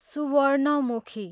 Suvarnamukhi